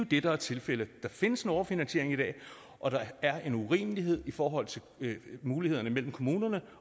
det der er tilfældet der findes en overfinansiering i dag og det er en urimelighed i forhold til mulighederne mellem kommunerne